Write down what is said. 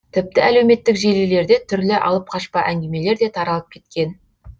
тіпті әлеуметтік желілерде түрлі алып қашпа әңгімелер де таралып кеткен